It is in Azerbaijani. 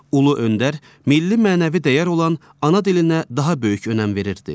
Ulu öndər milli mənəvi dəyər olan ana dilinə daha böyük önəm verirdi.